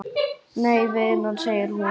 Nei vinan, segir hún.